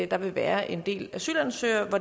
der vil være en del asylansøgere for